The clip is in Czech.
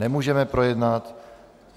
Nemůžeme projednat.